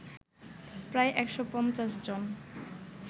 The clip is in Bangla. প্রায় ১৫০ জন